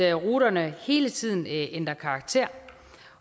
ruterne hele tiden ændrer karakter